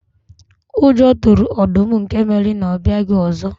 Ụjọ tụrụ ọdụm nke mere na ọ abịaghị ọzọ.